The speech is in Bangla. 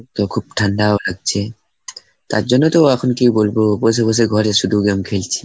তো খুব ঠান্ডাও লাগছে. তার জন্য তো এখন কি বলবো? বসে বসে ঘরে শুধু game খেলছি।